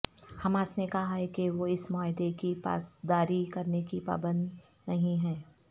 Hamas نے کہا ہے کہ وہ اس معاہدے کی پاسداری کرنے کی پابند نہیں ہے